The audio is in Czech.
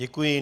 Děkuji.